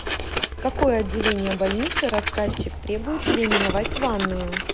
какое отделение больницы рассказчик требует переименовать в ванную